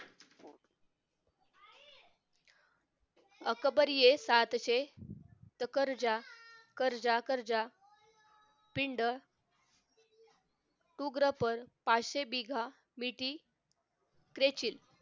अकबर हे सातचे त करजा करजा पिंड शुब्रा पाचशे मिघा मिति क्रेचील